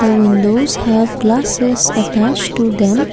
The windows have glasses attached to them.